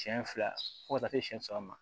Siɲɛ fila fo ka taa se siɲɛ saba ma